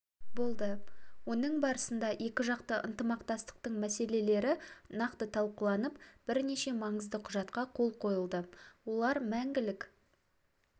болды оның барысында екіжақты ынтымақтастықтың мәселелері нақты талқыланып бірнеше маңызды құжатқа қол қойылды олар мәңгілік